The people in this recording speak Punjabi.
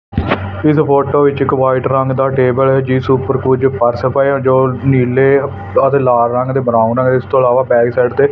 ਇਸ ਫੋਟੋ ਵਿੱਚ ਇੱਕ ਵਾਈਟ ਰੰਗ ਦਾ ਟੇਬਲ ਜਿਸ ਉਪਰ ਕੁਜ ਪਰਸ ਪਾਇਆ ਜੋ ਨੀਲੇ ਅਤੇ ਲਾਲ ਰੰਗ ਦੇ ਬ੍ਰਾਊਨ ਨੇ ਇਸ ਤੋਂ ਇਲਾਵਾ ਬੈਕ ਸਾਈਡ ਤੇ--